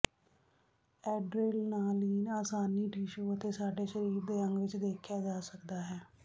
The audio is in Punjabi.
ਐਡਰੇਨਾਲੀਨ ਆਸਾਨੀ ਟਿਸ਼ੂ ਅਤੇ ਸਾਡੇ ਸਰੀਰ ਦੇ ਅੰਗ ਵਿਚ ਦੇਖਿਆ ਜਾ ਸਕਦਾ ਹੈ